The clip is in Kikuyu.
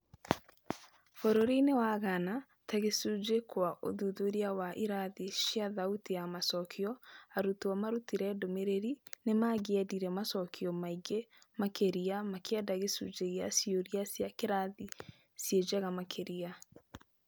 bũrũri-inĩ wa Gaana, ta gĩcunjĩ kwa ũthuthuria wa irathi cia thauti ya macokio, arutwo marutire ndũmĩrĩri nĩmangĩendire macokio maingĩ makĩria na makĩenda gĩcunjĩ gĩa ciũria cia kĩrathi ciĩnjega makĩria.